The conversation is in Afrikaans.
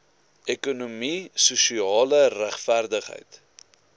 ekonomie sosiale regverdigheid